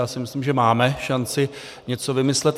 Já si myslím, že máme šanci něco vymyslet.